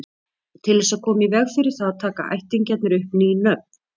Til þess að koma í veg fyrir það taka ættingjarnir upp ný nöfn.